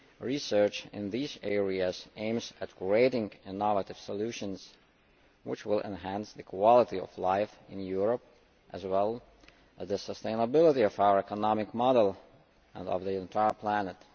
Research in these areas aims to create innovative solutions which will enhance the quality of life in Europe, as well as the sustainability of our economic model and of the entire planet.